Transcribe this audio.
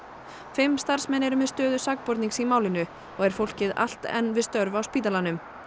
fimm starfsmenn eru með stöðu sakbornings í málinu og er fólkið allt enn við störf á spítalanum